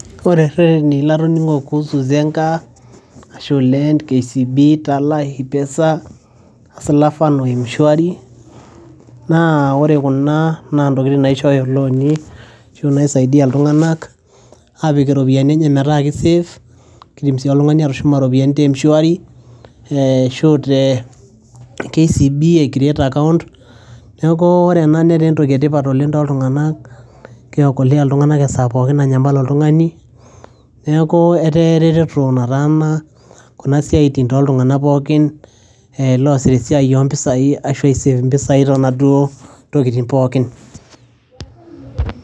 ore irreteni latoning'o kuhusu zenka, ashu, lent, kcb,tala, hipesa, hustler fund o mshwari naa ore kuna naa ntokitin naishooyo ilooni ashu naisaidia iltung'anak apik iropiyiani enye metaa ki safe kidim sii oltung'ani atushuma iropiyiani te mshwari eh ashu te kcb ae create account neku wore ena netaa entoki etipat oleng toltung'anak kiokolea iltung'anak esaa pookin nanyamal oltung'ani neku etaa ereteto nataana kuna siaitin toltung'anak pookin e loosita esiai ompisai ashu ae save impisai tonaduo tokiting pookin.